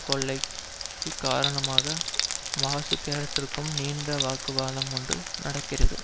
கொள்ளைக்கு காரணமான வாசு கேரக்டருக்கும் நீண்ட வாக்குவாதம் ஒன்று நடக்கிறது